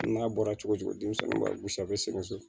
N'a bɔra cogo cogo denmisɛnw b'a gosi a bɛ sigasɛ